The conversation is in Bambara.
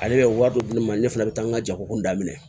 Ale bɛ wari dɔ di ne ma ne fana bɛ taa n ka jago kun daminɛ